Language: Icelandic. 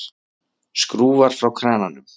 Skrúfar frá krananum.